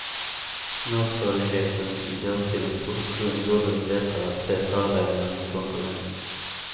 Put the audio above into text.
Småskaligheten i dåtidens produktion gjorde det lättare att se fördelarna med konkurrens.